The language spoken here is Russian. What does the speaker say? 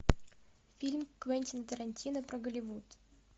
фильм квентина тарантино про голливуд